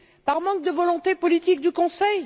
Par manque de volonté politique du Conseil?